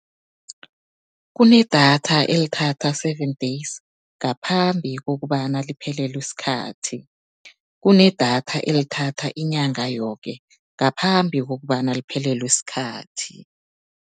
Kunedatha elithatha seven days, ngaphambi kokobana liphelelwe sikhathi. Kunedatha elithatha inyanga yoke, ngaphambi kokobana liphelelwe sikhathi.